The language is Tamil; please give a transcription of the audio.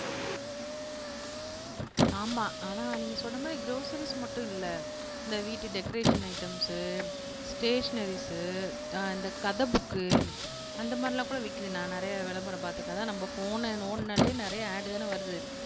ஆமா ஆனா நீங்க சொன்ன மாதிரி க்ராஸரீஸ் மட்டும் இல்ல இந்த வீட்டு டெக்கரேஷன் ஐட்டம்ஸு ஸ்டேஷனரீஸு அஹ் இந்த கதை புக்கு அந்த மாதிரிலாம் கூட விக்கிது நான் நிறைய விளம்பரம் பாத்துட்டேன் அதான் நம்ம ஃபோனை நோண்டுனாலே நிறைய ஆட் தானே வருது